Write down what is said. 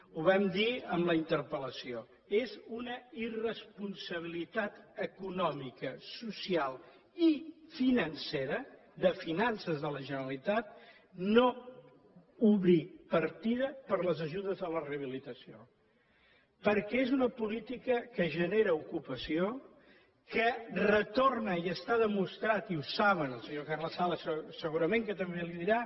ho vam dir en la interpel·lació és una irresponsabilitat econòmica social i financera de finances de la generalitat no obrir partida per a les ajudes a la rehabilitació perquè és una política que genera ocupació que retorna i està demostrat i ho saben el senyor carles sala segurament que també li ho dirà